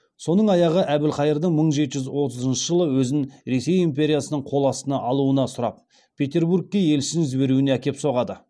соның аяғы әбілқайырдың мың жеті жүз отызыншы жылы өзін ресей империясының қол астына алуына сұрап петербургке елшісін жіберуіне әкеп соғады